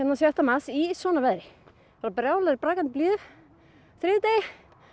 sjötta mars í svona veðri í brakandi blíðu á þriðjudegi